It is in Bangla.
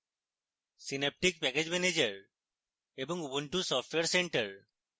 synaptic package manager এবং ubuntu software center